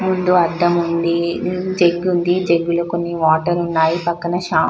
ముందు అద్దం ఉంది జగ్ ఉంది జగ్గలో కొన్ని వాటర్ ఉన్నాయి పక్కన షో --